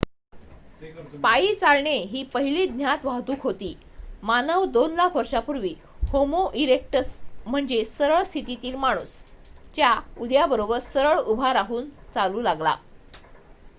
पायी चालणे ही पहिली ज्ञात वाहतूक होती मानव दोन लाख वर्षांपूर्वी होमो इरेक्टस म्हणजे सरळ स्थितीतील माणूस च्या उदयाबरोबर सरळ उभा राहून चालू लागला